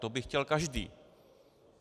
To by chtěl každý.